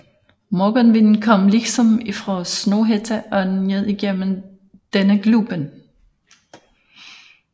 Morgonvinden kom liksom ifraa Snohætta og nedigjenom denne Glupen